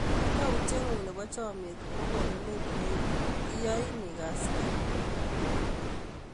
Yautye ng'ung' nepo chomyet kou konunet ne iyoni akaskey.